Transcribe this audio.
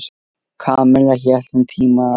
Kamilla hélt um tíma að